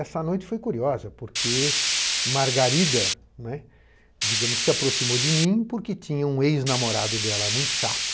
Essa noite foi curiosa, porque Margarida, né, digamos, se aproximou de mim porque tinha um ex-namorado dela muito chato.